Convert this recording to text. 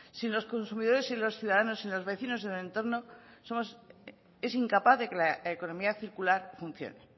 sin los consumidores y los ciudadanos y los vecinos del entorno es incapaz de que la economía circular funcione